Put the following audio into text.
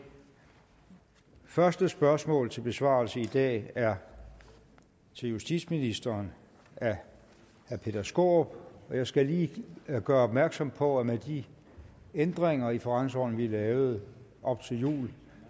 første spørgsmål til besvarelse i dag er til justitsministeren af herre peter skaarup jeg skal lige gøre opmærksom på at med de ændringer i forretningsordenen vi lavede op til jul